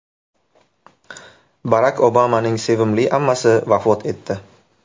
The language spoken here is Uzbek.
Barak Obamaning sevimli ammasi vafot etdi.